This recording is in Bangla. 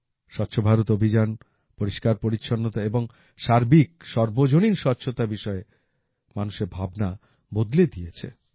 স্বচ্ছ ভারত অভিযান পরিষ্কারপরিচ্ছন্নতা এবং সার্বিক সর্বজনীন স্বচ্ছতা বিষয়ে মানুষের ভাবনা বদলে দিয়েছে